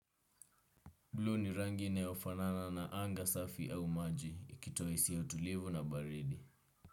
Blue ni rangi inayofanana na anga safi au maji ikito isi ya utulivu na baridi.